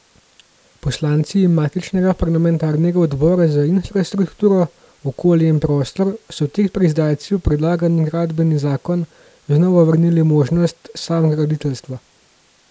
Poslanci matičnega parlamentarnega odbora za infrastrukturo, okolje in prostor so tik pred zdajci v predlagani gradbeni zakon znova vrnili možnost samograditeljstva.